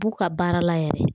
U b'u ka baara la yɛrɛ